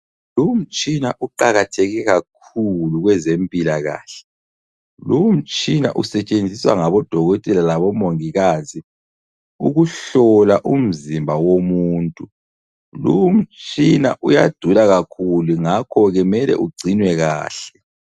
Lumtshina uqakatheke kakhulu kweze mpilakahle. Lumtshina usetshenziswa ngabo dokotela labo mongikazi ukuhlola umzimba womuntu. Lumtshina uyadula kakhulu, ngakho ke mele ugcinwe kahle.